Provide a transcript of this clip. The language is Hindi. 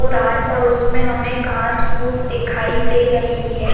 ओर आड़ -पड़ोस में हमें घास -फूस दिखाई दे रही हैं।